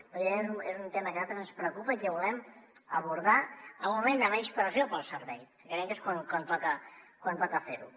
evidentment és un tema que a nosaltres ens preocupa i que volem abordar en un moment de menys pressió per al servei que creiem que és quan toca fer ho